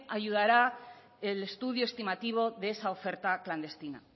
ayudará el estudio estimativo de esa oferta clandestina